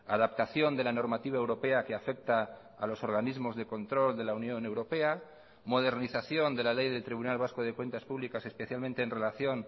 adaptación de la normativa europea que afecta a los organismos de control de la unión europea modernización de la ley del tribunal vasco de cuentas públicas especialmente en relación